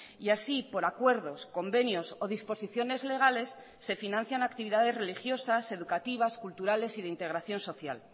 y así por acuerdos convenios o disposiciones legales se financian actividades religiosas educativas culturales y de integración social